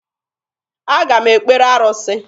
Aga m ekpere arụsị.